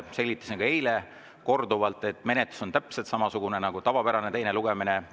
Ma selgitasin ka eile korduvalt, et menetlus on täpselt samasugune nagu tavapärane teine lugemine.